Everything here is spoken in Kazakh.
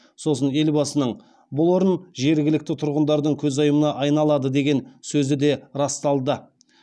сосын елбасының бұл орын жергілікті тұрғындардың көзайымына айналады деген сөзі де расталды